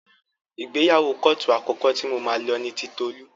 Ìgbéyàwó kóòtù àkọ́kọ́ tí mo máa lọ ni ti Tolú.